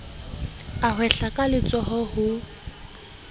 a hwehla ka letsoho ho